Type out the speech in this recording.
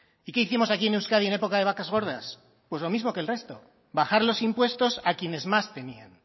y qué hicimos aquí en euskadi en época de vacas gordas pues lo mismo que el resto bajar los impuestos a quienes más tenían